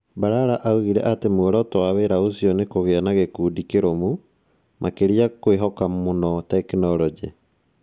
Balala oigire atĩ muoroto wa wĩra ũcio nĩ kũgĩa na gĩkundi kĩrũmu. Makĩria kwĩhoka mũno tekinolonjĩ.